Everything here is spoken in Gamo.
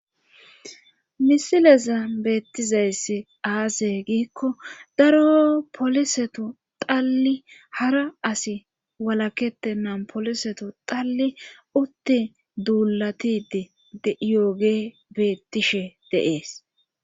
misileza beettizayss aase giikko daro poliseto talli hara asi walakete nan poliseto talli utti duulatidi dyooge beettishe deees